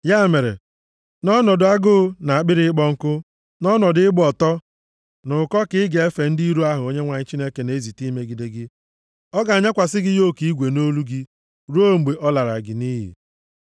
Ya mere, nʼọnọdụ agụụ na akpịrị ịkpọ nkụ, nʼọnọdụ ịgba ọtọ na ụkọ ka ị ga-efe ndị iro ahụ Onyenwe anyị na-ezite imegide gị. Ọ ga-anyakwasị yoku igwe nʼolu gị ruo mgbe ọ lara gị nʼiyi.